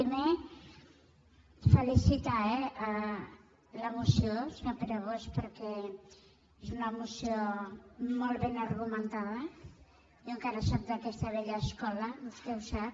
primer felicitar la moció senyor pere bosch perquè és una moció molt ben ar·gumentada jo encara sóc d’aquesta vella escola vos·tè ho sap